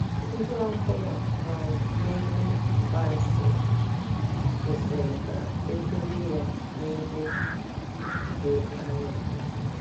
Ihe ọ bụla um na-eme mgbaasị kwesịrị ka edobe ya n'ebe um dị anya. um